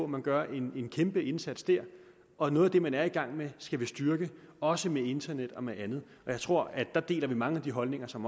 man gør en kæmpe indsats der og noget af det man er i gang med skal vi styrke også med internet og med andet jeg tror at vi der deler mange af de holdninger som